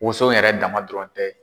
Woson yɛrɛ dama dɔrɔn tɛ